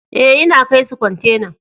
Eh, n'na kai su kwantenan.